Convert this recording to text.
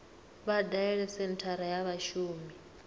vha dalele senthara ya vhashumi